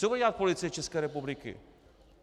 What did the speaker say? Co bude dělat Policie České republiky?